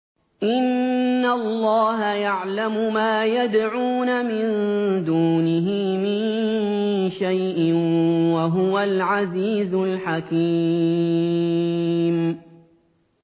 إِنَّ اللَّهَ يَعْلَمُ مَا يَدْعُونَ مِن دُونِهِ مِن شَيْءٍ ۚ وَهُوَ الْعَزِيزُ الْحَكِيمُ